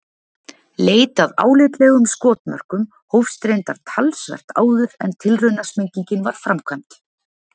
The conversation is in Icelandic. Leit að álitlegum skotmörkum hófst reyndar talsvert áður en tilraunasprengingin var framkvæmd.